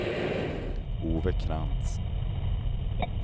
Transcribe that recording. Ove Krantz